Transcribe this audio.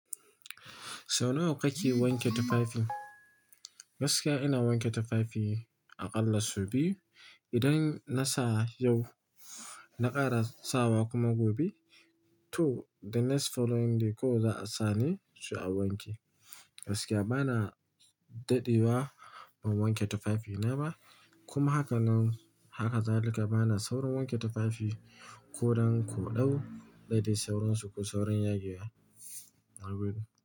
Sau nawa kake wanke tufafi? Gaskiya ina wanke tufafi aƙalla su biyu. Idan na sa yau, na ƙara sawa kuma gobe, to the next following day kawai za a sa ne sai a wanke. Gaskiya bana daɗi wa, ban wanke tufafina ba, kuma haka nan haka zalika bana saurin wanke tufafi ko don ko ɗau, da dai sauransu ko saurin yagewa na gode.